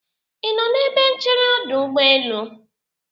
ị nọ n'ebe nchere ọdụ ụgbọelu?